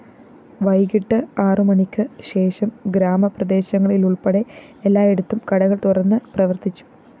വൈകിട്ട് ആറുമണിക്ക് ശേഷം ഗ്രാമപ്രദേശങ്ങളിലുള്‍പ്പെടെ എല്ലായിടത്തും കടകള്‍ തുറന്ന് പ്രവര്‍ത്തിച്ചു